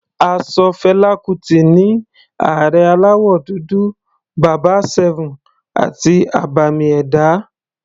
A ṣọ Fela Kuti ní Ààrẹ aláwọ̀ dúdú, bàbá 7 àti abàmì ẹ̀dá.